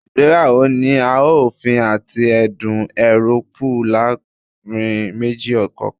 Igbeyawo ni a ofin ati ẹdun Euroopu laarin meji kọọkan